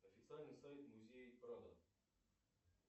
официальный сайт музея прадо